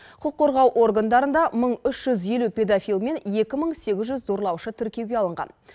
құқық қорғау органдарында мың үш жүз елу педофил мен екі мың сегіз жүз зорлаушы тіркеуге алынған